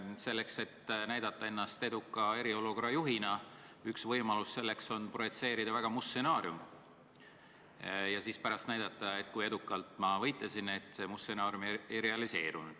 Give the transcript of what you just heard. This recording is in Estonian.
Selleks, et näidata ennast eriolukorra eduka juhina, on üks võimalus kõigepealt projitseerida väga must stsenaarium ja pärast näidata, kui edukalt ma võitlesin, et see must stsenaarium ei realiseerunud.